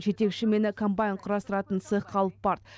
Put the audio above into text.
жетекшім мені комбайн құрастыратын цехқа алып барды